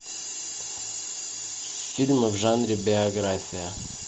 фильмы в жанре биография